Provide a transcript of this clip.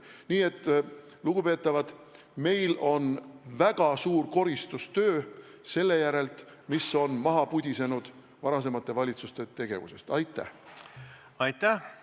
Nii et, lugupeetavad, meil on ees väga suur koristustöö, et eemaldada see, mis on varasemate valitsuste tegevuse käigus maha pudisenud.